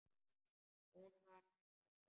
Hún var hætt að brosa.